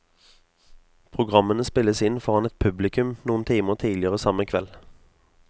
Programmene spilles inn foran et publikum noen timer tidligere samme kveld.